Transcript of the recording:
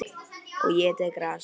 Og étið gras.